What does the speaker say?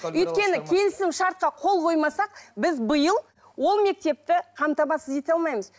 өйткені келісімшартқа қол қоймасақ біз биыл ол мектепті қамтамасыз ете алмаймыз